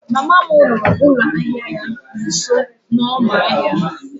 mama m rụrụ ụlọ ahịa ya nso n'ọma ahịa